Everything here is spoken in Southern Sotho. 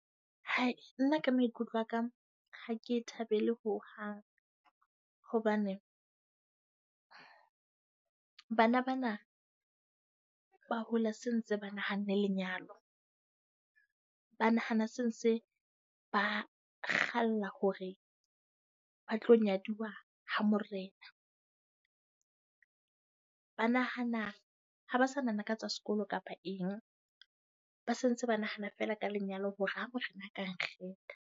Hai, nna ka maikutlo a ka, ha ke e thabele ho hang. Hobane bana bana ba hola sentse ba nahanne lenyalo. Ba nahana se ntse ba kgalla hore ba tlo nyaduwa ha morena. Ba nahana ha ba sa nahana ka tsa sekolo kapa eng, ba se ntse ba nahana fela ka lenyalo hore ha morena a ka nkgetha.